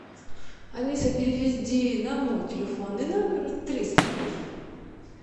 алиса переведи на мой телефонный номер триста рублей